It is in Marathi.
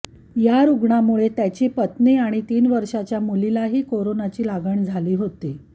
या रुग्णामुळे त्याची पत्नी आणि तीन वर्षांच्या मुलीलाही कोरोनाची लागण झाली होती